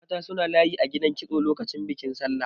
Mata suna layi a gidan kitso lokacin bikin Sallah.